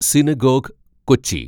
synagogue, Kochi